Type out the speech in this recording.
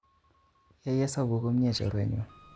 Yaih hesabu komie chorwenyun